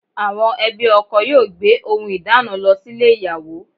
Àwọn ẹbí ọkọ yóò gbé ohùn ìdána lọ sílè ìyàwó